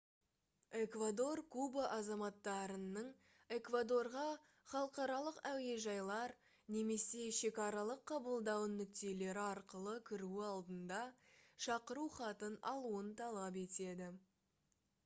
эквадор куба азаматтарының эквадорға халықаралық әуежайлар немесе шекаралық қабылдау нүктелері арқылы кіруі алдында шақыру хатын алуын талап етеді